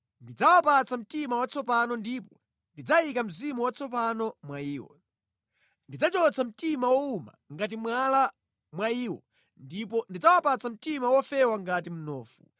Ndidzawapatsa mtima watsopano ndipo ndidzayika mzimu watsopano mwa iwo. Ndidzachotsa mtima wowuma ngati mwala mwa iwo, ndipo ndidzawapatsa mtima wofewa ngati mnofu.